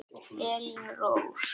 Elín Rós.